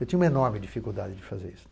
Eu tinha uma enorme dificuldade de fazer isso.